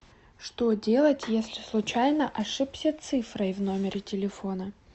что делать если случайно ошибся цифрой в номере телефона